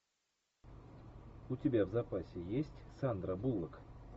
у тебя в запасе есть сандра буллок